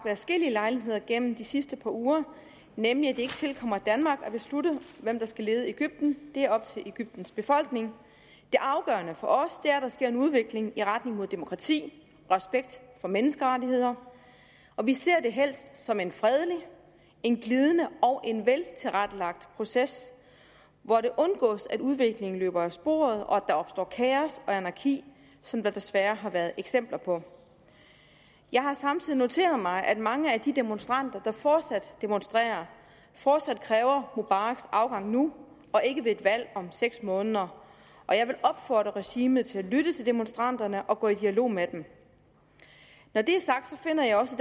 adskillige lejligheder gennem de sidste par uger nemlig at det ikke tilkommer danmark at beslutte hvem der skal lede egypten det er op til egyptens befolkning det afgørende for os er at der sker en udvikling i retning mod demokrati og respekt for menneskerettigheder og vi ser det helst som en fredelig en glidende og en veltilrettelagt proces hvor det undgås at udviklingen løber af sporet og at der opstår kaos og anarki som der desværre har været eksempler på jeg har samtidig noteret mig at mange af de demonstranter der fortsat demonstrerer fortsat kræver mubaraks afgang nu og ikke ved et valg om seks måneder jeg vil opfordre regimet til at lytte til demonstranterne og gå i dialog med dem når det er sagt finder jeg også